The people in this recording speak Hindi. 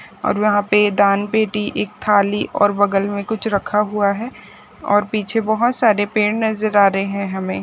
और वहां पे दान पेटी एक थाली और बगल में कुछ रखा हुआ और पीछे बहुत सारे पेड नजर आ रहे हैं हमें।